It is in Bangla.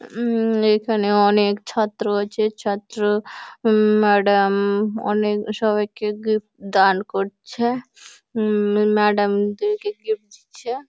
উমম এখানে অনেক ছাত্র আছে ছাত্র উমম ম্যাডাম -ম-ম অনেক সবাইকে গিফট দান করছে। উমম ম্যাডাম দের কে গিফট দিচ্ছে ।